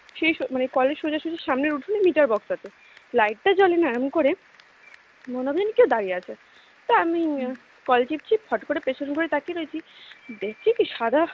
সেই মানে কলের সোজাসুজি সামনের উঠোন meter box আছে light টা জ্বলে না এমন করে মনে হবে যেন কেউ দাঁড়িয়ে আছে তা আমি কল চিপছি ফট করে পেছন ঘুরে তাকিয়ে রয়েছি দেখছি কি সাদা